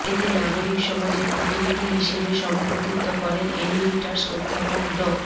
এতে নাগরিক সমাজের প্রতিনিধি হিসেবে সভাপতিত্ব করেন এমিরিটাস অধ্যাপক ড